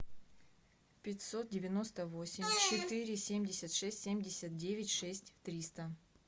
пятьсот девяносто восемь четыре семьдесят шесть семьдесят девять шесть триста